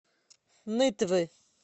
нытвы